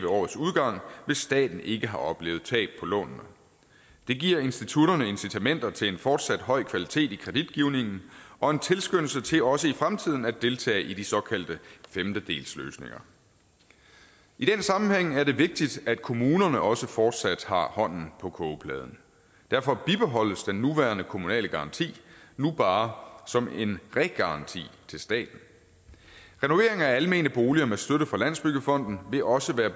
årets udgang hvis staten ikke har oplevet tab på lånene det giver institutterne incitamenter til en fortsat høj kvalitet i kreditgivningen og en tilskyndelse til også i fremtiden at deltage i de såkaldte femtedelsløsninger i den sammenhæng er det vigtigt at kommunerne også fortsat har hånden på kogepladen derfor bibeholdes den nuværende kommunale garanti nu bare som en regaranti til staten renovering af almene boliger med støtte fra landsbyggefonden vil også være